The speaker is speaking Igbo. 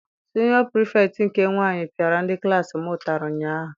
Siniọ Pirifetktị nke nwaanyị piara ndị klassi m ụtarị ụnyaahụ.